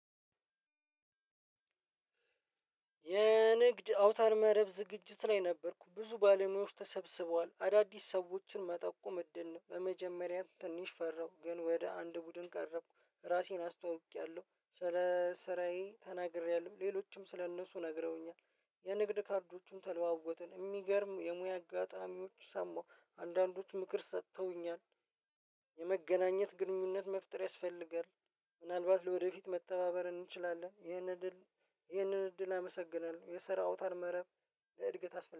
የንግድ አውታር መረብ ዝግጅት ላይ ነበርኩ ብዙ ባለሙያዎች ተሰብስበዋል አዳዲስ ሰዎችን መጠቆም እድል ነው። በመጀመሪያም ትንሽ ፈራሁ ግን ወደ አንድ ቡድን ቀረብኩ ራሴን አስተዋውቄያለሁ ስለ ስራዬ ተናግሬያለሁ ሌሎችም ስለእነሱ ነግረውኛል። የንግድ ካርዶቹን ተለዋወጥን የሚገርም የሙያ አጋጣሚዎች ሰማሁ አንዳንዶች ምክር ሰጥተውኛል። የመገናኘት ግንኙነት መፍጠር ያስፈልጋል። ምናልባት ለወደፊት መተባበር እንችላለን። ይህንን እድል ይህንን እድል አመሰግናለሁ የሰራ አውታረ መረብ ለእድገት አስፈላጊ